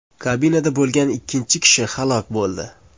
Kabinada bo‘lgan ikkinchi kishi halok bo‘ldi.